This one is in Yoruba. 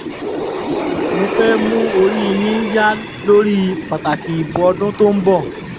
mo fẹ́ẹ̀ mú orí yín yá lórí pàtàkì ìbò ọdún tó ń bọ̀